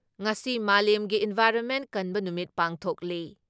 ꯉꯁꯤ ꯃꯥꯂꯦꯝꯒꯤ ꯏꯟꯚꯥꯏꯔꯣꯟꯃꯦꯟ ꯀꯟꯕ ꯅꯨꯃꯤꯠ ꯄꯥꯡꯊꯣꯛꯂꯤ ꯫